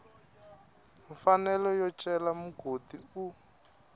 mfanelo yo cela mugodi u